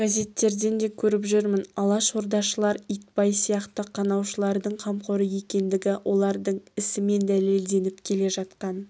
газеттерден де көріп жүрмін алашордашылдар итбай сияқты қанаушылардың қамқоры екендігі олардың ісімен дәлелденіп келе жатқан